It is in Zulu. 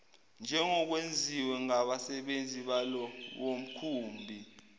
njengokwenziwe ngabasebenzi balowomkhumbi